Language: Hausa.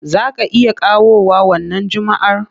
Za ka iya kawowa wannan Juma'ar?